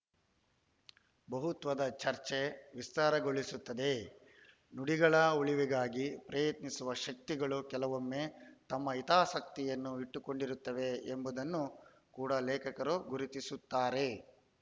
ಬಹುತ್ವದ ಚರ್ಚೆ ವಿಸ್ತಾರಗೊಳಿಸುತ್ತದೆ ನುಡಿಗಳ ಉಳಿವಿಗಾಗಿ ಪ್ರಯತ್ನಿಸುವ ಶಕ್ತಿಗಳು ಕೆಲವೊಮ್ಮೆ ತಮ್ಮ ಹಿತಾಸಕ್ತಿಯನ್ನು ಇಟ್ಟುಕೊಂಡಿರುತ್ತವೆ ಎಂಬುದನ್ನು ಕೂಡ ಲೇಖಕರು ಗುರುತಿಸುತ್ತಾರೆ